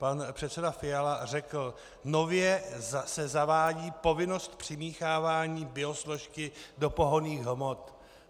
Pan předseda Fiala řekl: "Nově se zavádí povinnost přimíchávání biosložky do pohonných hmot."